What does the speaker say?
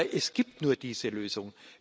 Aber es gibt nur diese Lösung.